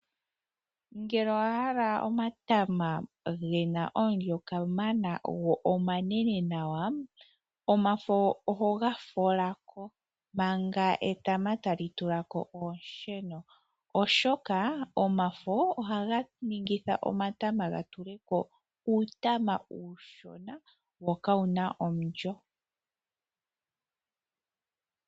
Ngele owa hala omatama ge na omulyo kamana go omanene nawa, omafo oho ga fola ko manga etama tali tula ko oonsheno, oshoka omafo ohaga ningitha omatama ga tule ko uutama uushona wo ka wu na omulyo.